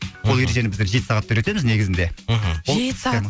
мхм ол ережені біздер жеті сағатта үйретеміз негізінде мхм жеті сағат